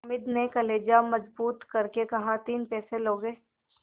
हामिद ने कलेजा मजबूत करके कहातीन पैसे लोगे